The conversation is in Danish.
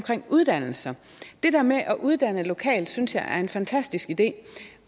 uddannelser det der med at uddanne lokalt synes jeg er en fantastisk idé